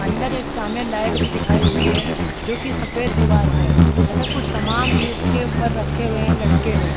अंदर एक सामने लाइट भी दिखाई दे रही है जो की सफ़ेद दीवार पे है तथा कुछ सामान भी उसके ऊपर रखे हुए हैं लटके हुए हैं।